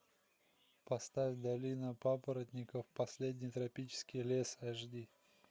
поставь долина папоротников последний тропический лес аш ди